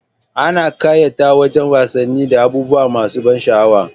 Ana ƙayata wajan wasannin da abubuwa masa ban sha'awa